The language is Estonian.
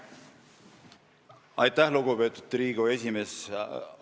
Aitäh, lugupeetud Riigikogu esimees!